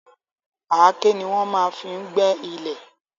Àáké ni wọ́n máa n fí gbé ilẹ̀